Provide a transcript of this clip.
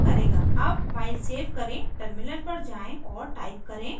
अब file save करें terminal पर जाएँ और टाइप करें